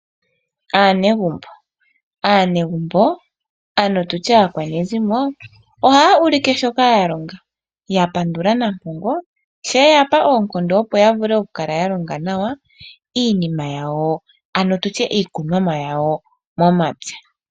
Aanegumbo, oha yulike shoka yalonga yapandula nampongo sho eyapa oonkondo opo ya vule oku kala yalonga nawa iinima yawo, ano tutye iikunomwa yawo yomomapya.